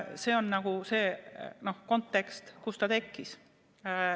See on see kontekst, milles ta tekkis.